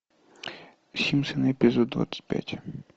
симпсоны эпизод двадцать пять